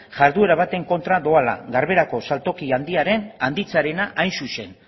jarduera baten kontra doala garberako saltoki handia handitzearena hain zuzen